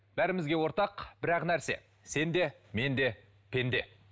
бәрімізге ортақ бір ақ нәрсе сен де мен де пенде